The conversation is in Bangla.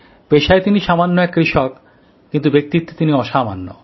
পেশায় তিনি সামান্য এক কৃষক কিন্তু ব্যক্তিত্বে তিনি অসামান্য